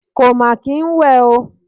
Kò máa kín ń wẹ̀ o.